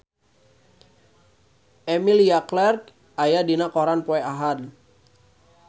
Emilia Clarke aya dina koran poe Ahad